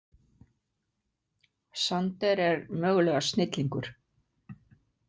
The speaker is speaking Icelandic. Sander er mögulega snillingur.